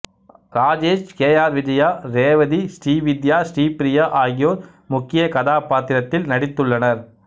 Rajesh K R Vijaya Revathi Srividya Sripriya ஆகியோர் முக்கியக் கதாப்பாத்திரத்தில் நடித்துள்ளனர்